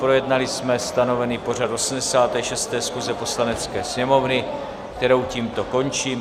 Projednali jsme stanovený pořad 86. schůze Poslanecké sněmovny, kterou tímto končím.